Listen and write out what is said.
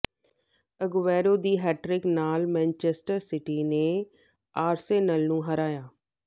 Aguero ਦੀ hat trick ਨਾਲ Manchester City ਨੇ ਆਰਸੇਨਲ ਨੂੰ ਹਰਾਇਆ